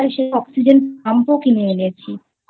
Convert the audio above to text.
সেজন্য Oxygen Pump ও কিনে এনেছিI